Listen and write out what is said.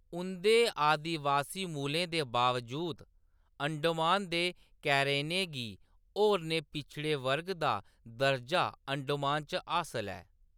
उंʼदे आदिबासी मूलें दे बावजूद, अंडमान दे कैरनें गी होरनें पिछड़े वर्ग दा दर्जा अंडमान च हासल ऐ।